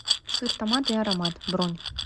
сыр томат и аромат бронь